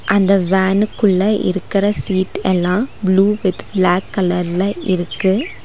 அந்த வேனுக்குள்ள இருக்கற சீட் எல்லா ப்ளூ வித் ப்ளாக் கலர்ல இருக்கு.